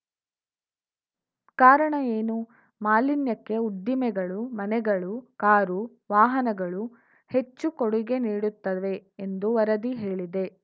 ಕಾರಣ ಏನು ಮಾಲಿನ್ಯಕ್ಕೆ ಉದ್ದಿಮೆಗಳು ಮನೆಗಳು ಕಾರು ವಾಹನಗಳು ಹೆಚ್ಚು ಕೊಡುಗೆ ನೀಡುತ್ತವೆ ಎಂದು ವರದಿ ಹೇಳಿದೆ